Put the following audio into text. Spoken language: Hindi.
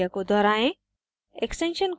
उसी प्रक्रिया को दोहराएं